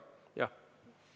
Anname kolm minutit lisaaega.